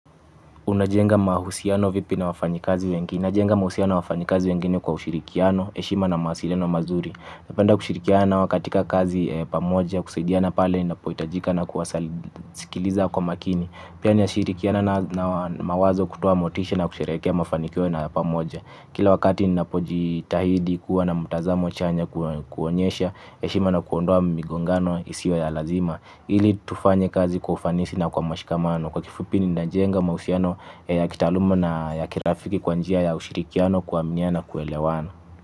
Unajenga mahusiano vipi na wafanyikazi wengine? Najenga mahusiano na wafanyikazi wengine kwa ushirikiano, heshima na mawasiliano mazuri. Napenda kushirikiana nao katika kazi pamoja, kusaidiana pale inapohitajika na kuwasilikiliza kwa makini. Pia na shirikiana nao mawazo, kutoa motisha na kusherehekea mafanikio nao pamoja. Kila wakati ninapojitahidi, kuwa na mtazamo chanya, kuonyesha heshima na kuondoa migongano isiyo ya lazima, ili tufanye kazi kwa ufanisi na kwa mashikamano. Kwa kifupi ninajenga mahusiano ya kitaluma na ya kirafiki kwa njia ya ushirikiano, kuaminiana na kuelewana.